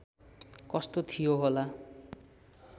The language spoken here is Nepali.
कस्तो थियो होला